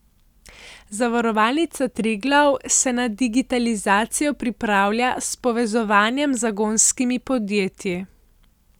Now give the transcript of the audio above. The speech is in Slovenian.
Zavarovalnica Triglav se na digitalizacijo pripravlja s povezovanjem z zagonskimi podjetji.